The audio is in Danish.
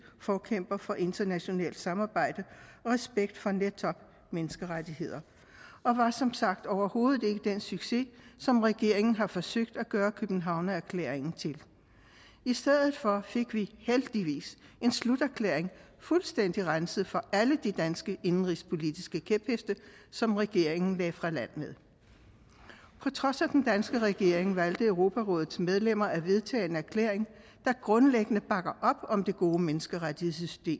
forkæmper for internationalt samarbejde og respekt for netop menneskerettighederne og var som sagt overhovedet ikke den succes som regeringen har forsøgt at gøre københavnerklæringen til i stedet for fik vi heldigvis en sluterklæring fuldstændig renset for alle de danske indenrigspolitiske kæpheste som regeringen lagde fra land med på trods af den danske regering valgte europarådets medlemmer at vedtage en erklæring der grundlæggende bakker op om det gode menneskerettighedssystem